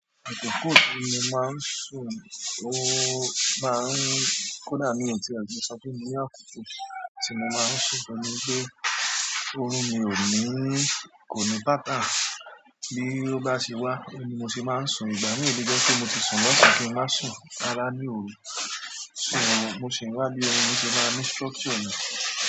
Àkoko tí mo máa ń sùn, ó maá ń kódà mí o ti e le sọ pé mo ní àkókò tí mo máa ń sùn, oun ní wípé, orun mi ò ní kò ní pattern bi o bá ṣe wà ni mo ṣe máa ń sùn. Ìgbà mi i lè jẹ́ pé mo ti sùn lọ́sàn, kí n máa sùn rárá ní òru, mo sì ń wá bí orun ṣe máa ní structure ni.